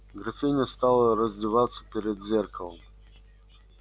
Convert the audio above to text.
графиня стала раздеваться перед зеркалом